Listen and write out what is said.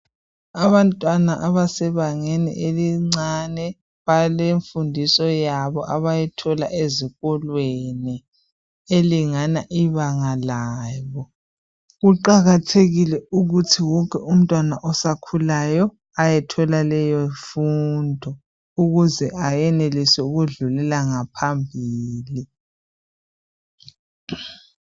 Abantwana abesebangeni elincane balemfundiso yabo abayethula ezikolweni elingana ibanga labo. Kuqakathekile ukuthi wonke umntwana osakhulayo ayethola leyo mfundo ukuze ayenelise ukudlulela ngaphambili.